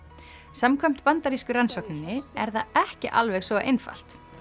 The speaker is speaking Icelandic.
samkvæmt bandarísku rannsókninni er það ekki alveg svo einfalt